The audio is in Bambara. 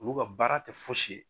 Olu ka baara tɛ fosi ye